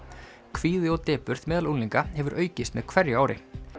kvíði og depurð meðal unglinga hefur aukist með hverju ári